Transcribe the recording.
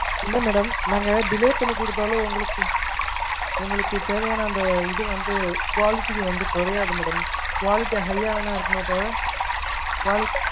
இல்ல madam நாங்க delay பண்ணிக்குடுதாலும் உங்களுக்கு உங்களுக்கு தேவையான அந்த இது வந்து quality வந்து குறையாது madam Quality high அ வேணா இருக்குமே தவிர quality